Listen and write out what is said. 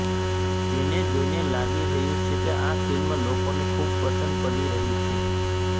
જેને જોઈને લાગી રહ્યું છે કે આ ફિલ્મ લોકોને ખુબ પસંદ પડી રહી છે